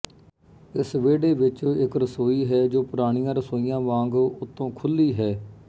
ਇਸ ਵਿਹੜੇ ਵਿੱਚ ਇੱਕ ਰਸੋਈ ਹੈ ਜੋ ਪੁਰਾਣੀਆਂ ਰਸੋਈਆਂ ਵਾਂਗ ਉੱਤੋਂ ਖੁੱਲੀ ਹੈ